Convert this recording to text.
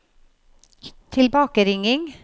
tilbakeringing